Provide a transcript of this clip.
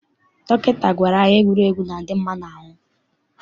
Dọkịta gwara anyị na egwuregwu na-adị mma n'ahụ.